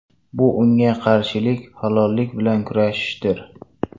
Bu unga qarshi halollik bilan kurashishdir.